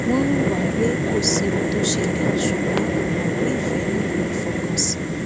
wọn hùwà pé kò sí ohun tó ṣẹlẹ ṣùgbọn mọ pé ìfẹ nílò ìfọkànsìn